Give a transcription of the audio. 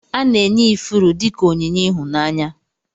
Ana enye ifuru dika onyinye ihụnanya.